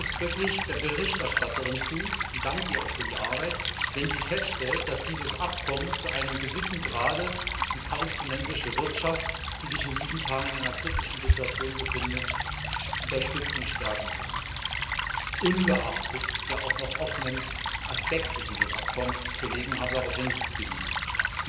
Ich stimme ausdrücklich der Berichterstatterin zu und danke ihr auch für die Arbeit wenn sie feststellt, dass dieses Abkommen zu einem gewissen Grad die palästinensische Wirtschaft, die sich in diesen Tagen in einer kritischen Situation befindet, unterstützen und stärken kann, ungeachtet der auch noch offenen Aspekte dieses Abkommens, auf die Kollegen hingewiesen haben.